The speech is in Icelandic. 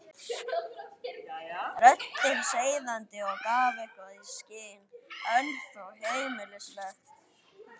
Röddin seiðandi og gaf eitthvað í skyn, en þó heimilisleg.